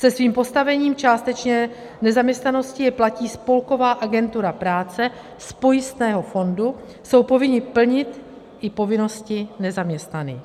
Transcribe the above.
Se svým postavením částečné nezaměstnanosti je platí spolková agentura práce z pojistného fondu, jsou povinni plnit i povinnosti nezaměstnaných.